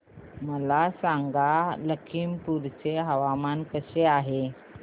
मला सांगा लखीमपुर चे हवामान कसे आहे